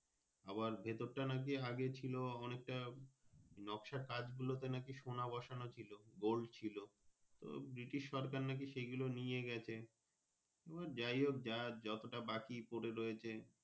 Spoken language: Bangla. আবার ভেতরটা নাকি আগে ছিলো অনেকটা নক্সর কাজ গুলোতে নাকি সোনা বসানো ছিল Gold ছিল British সরকার নাকি সেই গুলো নিয়েগেছে আহ যাইহোক যাই যত টা বাকি পরে রয়েছে।